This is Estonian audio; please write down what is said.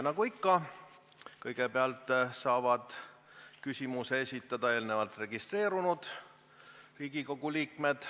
Nagu ikka, kõigepealt saavad küsimuse esitada eelnevalt registreerunud Riigikogu liikmed.